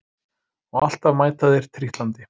Og alltaf mæta þeir trítlandi